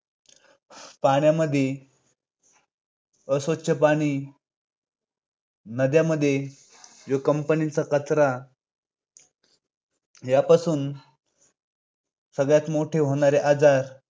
पाण्यामध्ये अस्वच्छ पाणी नद्यांमध्ये जो companies चा कचरा यापासून सगळ्यात मोठे होणारे आजार